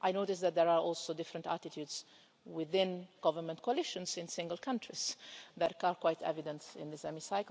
I notice that there are also different attitudes within government coalitions in single countries that are quite evident in this Chamber.